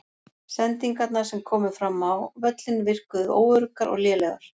Sendingarnar sem komu fram á völlinn virkuðu óöruggar og lélegar.